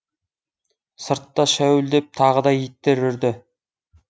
сыртта шәуілдеп тағы да иттер үрді